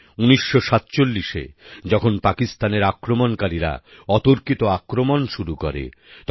১৯৪৭এ যখন পাকিস্তানের আক্রমণকারীরা অতর্কিত আক্রমণ শুরু করে তখন